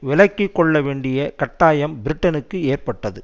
விலக்கி கொள்ளவேண்டிய கட்டாயம் பிரிட்டனுக்கு ஏற்பட்டது